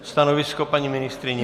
Stanovisko paní ministryně?